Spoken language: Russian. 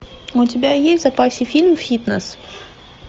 у тебя есть в запасе фильм фитнес